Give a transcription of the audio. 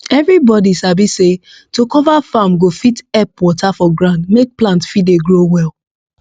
everybody sabi say to cover farm go fit help water for ground make plant fit dey grow well